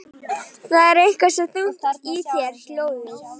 Það er eitthvað svo þungt í þér hljóðið.